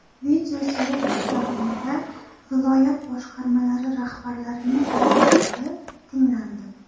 Videoselektor davomida viloyat boshqarmalari rahbarlarining takliflari tinglandi.